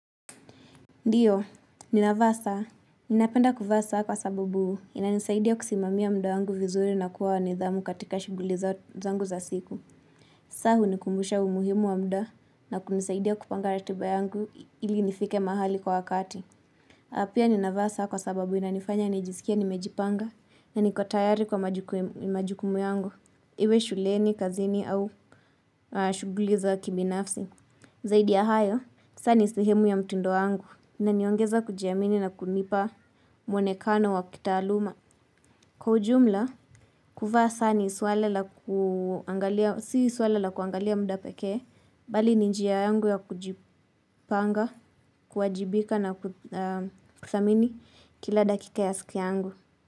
Ndiyo, ninavaa saa. Ninapenda kuvaa saa kwa sabubu, inanisaidia kusimamia muda wangu vizuri na kuwa wa nidhamu katika shughuli zangu za siku. Saa hunikumbusha umuhimu wa muda na kunisaidia kupanga ratiba yangu ili nifike mahali kwa wakati. Na pia ninavaa saa kwa sababu inanifanya nijisikie nimejipanga na niko tayari kwa majukumu yangu. Iwe shuleni, kazini au shughuli za kibinafsi. Zaidi ya hayo, saa ni sehemu ya mtindo wangu. Inaniongeza kujiamini na kunipa mwonekano wa kitaaluma. Kwa ujumla, kuvaa saa si swala la kuangalia muda pekee, bali ni njia yangu ya kujipanga, kuwajibika na kuthamini kila dakika ya siku yangu.